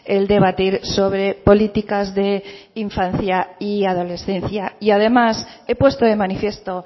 el debatir sobre políticas de infancia y adolescencia y además he puesto de manifiesto